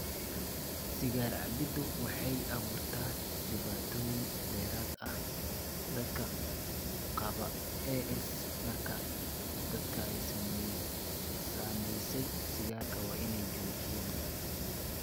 Sigaar cabbiddu waxay u abuurtaa dhibaatooyin dheeraad ah dadka qaba AS, markaa dadka ay saamaysay sigaarka waa inay joojiyaan.